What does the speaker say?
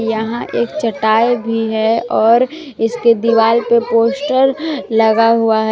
यहां एक चटाई भी है और इसके दीवाल पे पोस्टर लगा हुआ है।